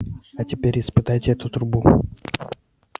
а теперь испытайте эту трубу